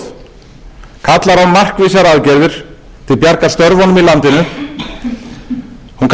í landinu hún kallar á skýr svör um aðgerðir vegna greiðsluvanda heimilanna og hún